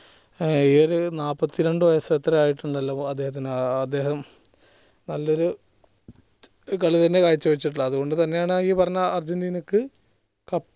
ഏർ ഒരു നാപ്പത്തിരണ്ട്‍ വയസ് എത്രയോ ആയിട്ടുണ്ടാലോ അദ്ദേഹത്തിന് ഏർ അദ്ദേഹം നല്ലൊരു കളി തന്നെ കാഴ്ച വെച്ചിട്ടുള്ളത് അത്കൊണ്ട്തന്നെയാണ് ഈ പറഞ്ഞ അർജന്റീനയ്ക്ക്